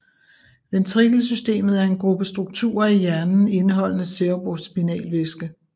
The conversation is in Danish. Ventrikelsystemet er en gruppe strukturer i hjernen indeholdende cerebrospinalvæske